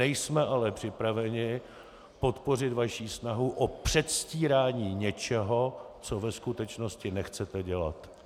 Nejsme ale připraveni podpořit vaši snahu o předstírání něčeho, co ve skutečnosti nechcete dělat.